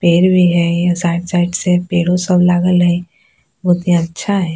पेड़ भी हेय यहां साइड साइड से पेड़ो सब लागल हेय बहुत ही अच्छा हेय।